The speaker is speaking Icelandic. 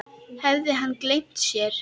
Hafði hann gleymt sér?